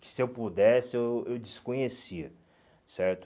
Se eu pudesse, eu eu desconhecia, certo?